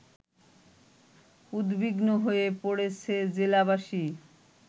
উদ্বিগ্ন হয়ে পড়েছে জেলাবাসী